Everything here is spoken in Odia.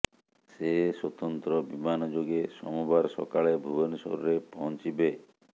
ସେ ସ୍ବତନ୍ତ୍ର ବିମାନ ଯୋଗେ ସୋମବାର ସକାଳେ ଭୁବନେଶ୍ବରରେ ପହଞ୍ଚିବେ